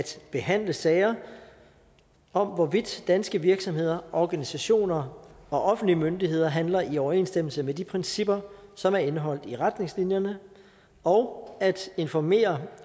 behandle sager om hvorvidt danske virksomheder organisationer og offentlige myndigheder handler i overensstemmelse med de principper som er indeholdt i retningslinjerne og at informere